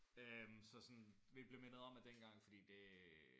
Øh så sådan vi blev mindet at dengang for det